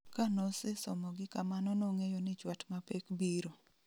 Kanosesomogi kamano nong'eyo ni chwat mapek biro